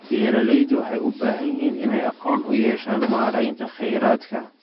Beeraleydu waxay u baahan yihiin inay aqoon u yeeshaan maareynta kheyraadka.